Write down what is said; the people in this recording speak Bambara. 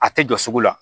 A tɛ jɔ sugu la